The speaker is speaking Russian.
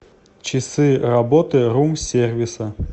часы работы рум сервиса